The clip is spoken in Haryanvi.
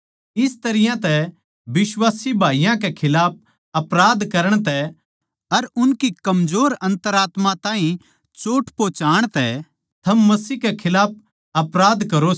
इस तरियां तै बिश्वासी भाईयाँ कै खिलाफ अपराध करण तै अर उनकै कमजोर अन्तरात्मा ताहीं चोट पोहोचाण तै थम मसीह कै खिलाफ अपराध करो सो